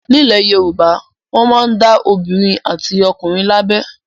Nílẹ̀ Yorùbá, wọn máa ń dá obìnrin àti ọkùnrin lábẹ.